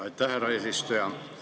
Aitäh, härra eesistuja!